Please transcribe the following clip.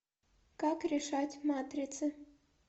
как решать матрицы